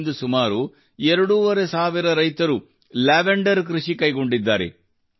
ಇಂದು ಸುಮಾರು ಎರಡೂವರೆ ಸಾವಿರ ರೈತರು ಲ್ಯಾವೆಂಡರ್ ಕೃಷಿ ಕೈಗೊಂಡಿದ್ದಾರೆ